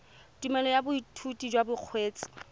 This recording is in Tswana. tumelelo ya boithutedi jwa bokgweetsi